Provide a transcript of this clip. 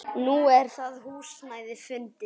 Nú er það húsnæði fundið.